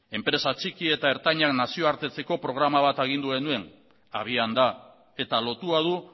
enpresa txiki eta ertainak nazioartetzeko programa bat agindu genuen abian da eta lotua du